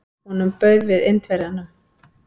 Honum bauð við Indverjanum.